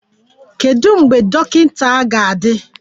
Kedu mgbe dọkịta ga-adị?